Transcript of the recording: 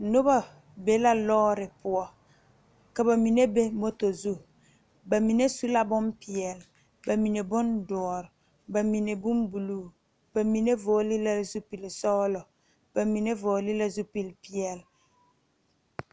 Nobɔ be la lɔɔre poɔ ka ba mine be moto zu ba mine su la bonpeɛle ba mine bondoɔre ba mine bonbluu ba mine vɔgle la zupilsɔglɔ ba mine vɔgle la zupilpeɛle.